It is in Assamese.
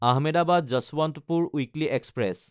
Ahmedabad-Yesvantpur weekly express